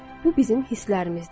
Bu bizim hisslərimizdir.